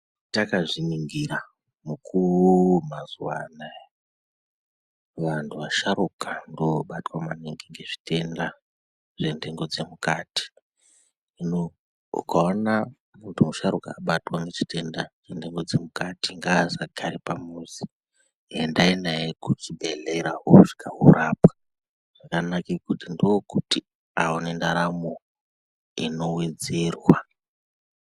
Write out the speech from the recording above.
Takazviningira mukuwo mazuva anaya vantu vasharuka vanobatwa maningi ngezvitenda zventengo dzemukati. Hino ungaona muntu musharukwa abatwa ngechitenda chenhengo dzemukati ngaasagare pamuzi. Endai naye kuchibhedhlera anoe kuti arapwe ndokuti aone ndaramo inowedzerwa.